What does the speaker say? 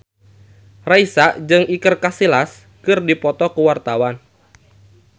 Raisa jeung Iker Casillas keur dipoto ku wartawan